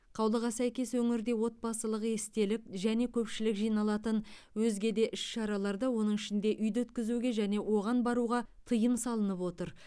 қаулыға сәйкес өңірде отбасылық естелік және көпшілік жиналатын өзге де іс шараларды оның ішінде үйде өткізуге және оған баруға тыйым салынып отыр